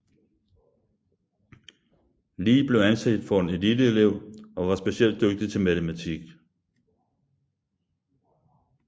Lee blev anset for en eliteelev og var specielt dygtig til matematik